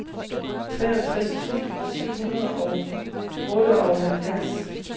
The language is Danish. treogtres tusind syv hundrede og otteoghalvfjerds